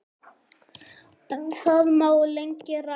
Um það má lengi ræða.